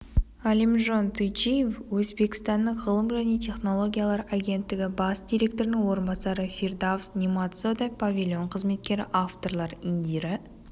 олимжон туйчиев өзбекстанның ғылым және технологиялар агенттігі бас директорының орынбасары фирдавс нематзода павильон қызметкері авторлары индира